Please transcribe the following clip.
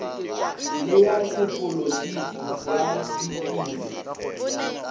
le ya sepolitiki ya ditiro